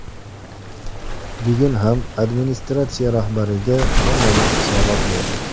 Bugun ham administratsiya rahbariga hammamiz hisobot berdik.